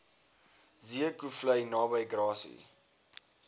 zeekoevlei naby grassy